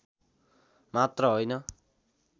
मात्र हैन